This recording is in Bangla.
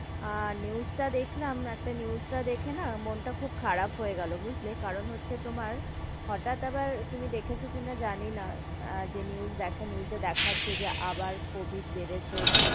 আহ news টা দেখলাম, একটা news টা দেখে না মন তা খুব খারাপ হয়ে গেলো বুঝলে কারণ হচ্ছে তোমার, হটাত আবার তুমি দেখেছো কি না জানি না আহ যে news দেখে news এ দেখাচ্ছে যে আবার কবিড বেড়েছে,